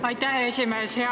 Aitäh, hea esimees!